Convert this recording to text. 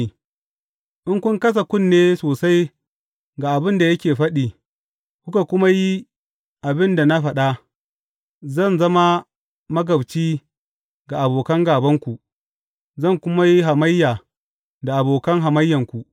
In kun kasa kunne sosai ga abin da yake faɗi, kuka kuma yi abin da na faɗa, zan zama magabci ga abokan gābanku, zan kuma yi hamayya da abokan hamayyanku.